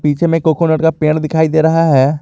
पीछे में कोकोनट का पेड़ दिखाई दे रहा है।